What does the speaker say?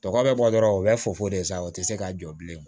Tɔkɔ bɛ bɔ dɔrɔn u bɛ fofo de sa o tɛ se ka jɔ bilen